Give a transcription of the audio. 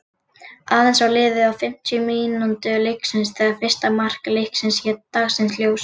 Aðeins var liðið á fimmtu mínútu leiksins þegar fyrsta mark leiksins leit dagsins ljós.